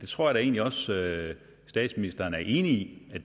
tror da egentlig også at statsministeren er enig i at